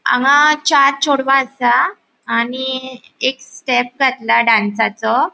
हांगा चार चोड़वा आसा आणि एक स्टेप घातला डांसाचो .